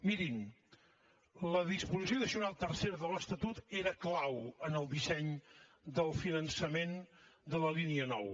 mirin la disposició addicional tercera de l’estatut era clau en el disseny del finançament de la línia nou